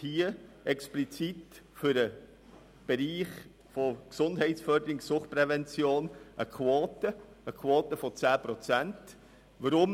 Hier wird explizit für die Bereiche Gesundheitsförderung und Suchtprävention eine Quote von 10 Prozent gefordert.